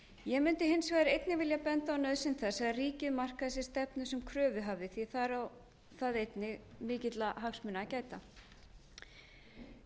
ég mundi hins vegar einnig vilja benda á nauðsyn þess þegar ríkið markar sér stefnu sem kröfuhafi því þar á það einnig mikilla hagsmuna að gæta það